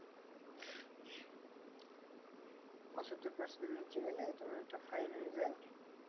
পঁচাত্তর percent এর নিচে গেলে তোমার একটা fine হয়ে যায়।